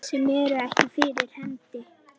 Sem eru ekki fyrir hendi.